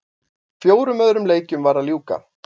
Fjórum öðrum leikjum var að ljúka